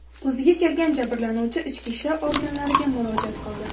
O‘ziga kelgan jabrlanuvchi ichki ishlar organlariga murojaat qildi.